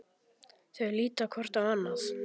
Þau líta hvort á annað.